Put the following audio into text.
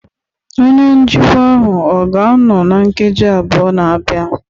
onye njikwa ahụ ọ ga-anọ na nkeji abụọ na-abịa?